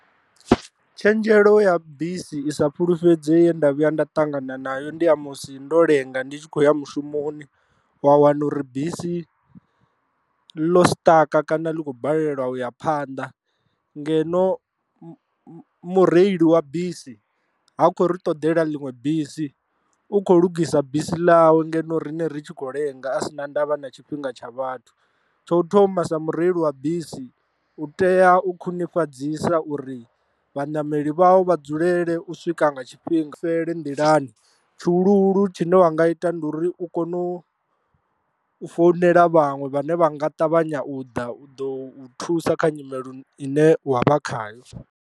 Tshenzhelo ya bisi isa fhulufhedzei ye nda vhuya nda ṱangana nayo ndi ya musi ndo lenga ndi tshi khou ya mushumoni wa wana uri bisi ḽo siṱaka kana ḽi khou balelwa u ya phanḓa, ngeno mureili wa bisi ha khou ri ṱoḓela ḽiṅwe bisi u kho lungisa bisi ḽawe ngeno riṋe ri tshi khou lenga a si na ndavha na tshifhinga tsha vhathu. Tsho thoma sa mureili wa bisi u tea u khwinifhadziwa uri vhanameli vha vha dzulele u swika nga tshifhinga fhele nḓilani tshuhuluhulu tshine wa nga ita ndi uri u kone u founela vhaṅwe vhane vha nga ṱavhanya u ḓa u ḓo thusa kha nyimele ine wa vha khayo.